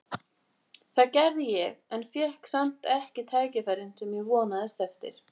Það gerði ég en fékk samt ekki tækifærin sem ég vonaðist eftir.